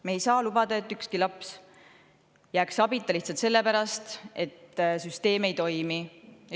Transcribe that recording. Me ei saa lubada, et üksainuski laps jääks abita lihtsalt selle pärast, et süsteem ei toimi.